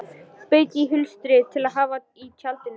Spegill í hulstri til að hafa í tjaldinu.